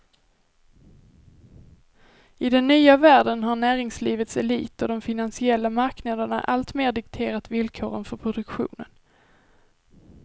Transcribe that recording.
I den nya världen har näringslivets elit och de finansiella marknaderna alltmer dikterat villkoren för produktionen.